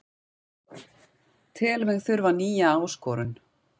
Tel mig þurfa nýja áskorun